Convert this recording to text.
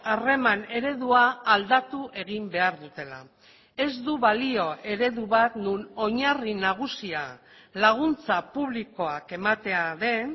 harreman eredua aldatu egin behar dutela ez du balio eredu bat non oinarri nagusia laguntza publikoak ematea den